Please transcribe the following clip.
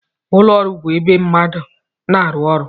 Ụlọ ọrụ bụ ebe ndị mmadụ na-arụ ọrụ